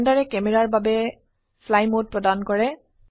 ব্লেন্ডাৰে ক্যামেৰাৰ বাবে fly mode প্ৰদান কৰে